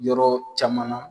Yɔrɔ caman na